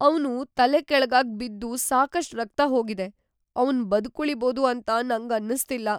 ಅವ್ನು ತಲೆಕೆಳಗಾಗ್ ಬಿದ್ದು ಸಾಕಷ್ಟ್‌ ರಕ್ತ ಹೋಗಿದೆ. ಅವ್ನ್‌ ಬದ್ಕುಳಿಬೋದು ಅಂತ ನಂಗನ್ನಿಸ್ತಿಲ್ಲ.